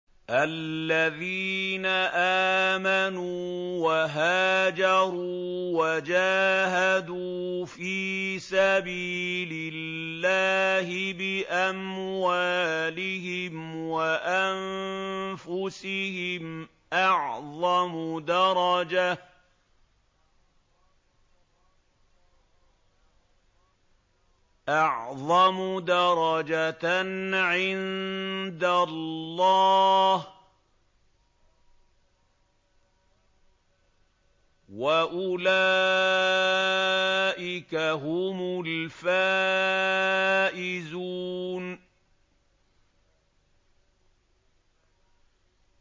الَّذِينَ آمَنُوا وَهَاجَرُوا وَجَاهَدُوا فِي سَبِيلِ اللَّهِ بِأَمْوَالِهِمْ وَأَنفُسِهِمْ أَعْظَمُ دَرَجَةً عِندَ اللَّهِ ۚ وَأُولَٰئِكَ هُمُ الْفَائِزُونَ